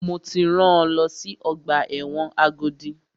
Mo ti rán lọ sí ọgbà ẹ̀wọ̀n Agodi!